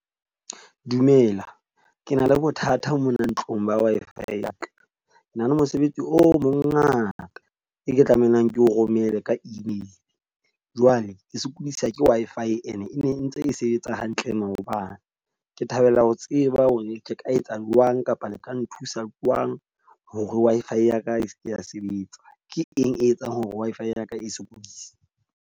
Dumela ke na le bothata mona ntlong ba Wi-Fi ya ka. Na le mosebetsi o mongata e ke tlamehang ke o romela ka email. Jwale e sokodisa ke Wi-Fi, e ne e ne ntse e sebetsa hantle maobane. Ke thabela ho tseba hore ke ka etsa jwang kapa le ka nthusa jwang hore Wi-Fi ya ka e seke ya sebetsa, ke eng e etsang hore Wi-Fi ya ka e sokodise?